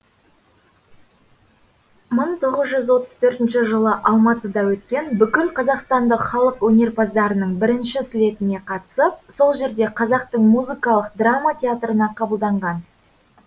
мың тоғыз жүз отыз төртінші жылы алматыда өткен бүкілқазақстандық халық өнерпаздарының бірінші слетіне қатысып сол жерде қазақтың музыкалық драма театрына қабылданған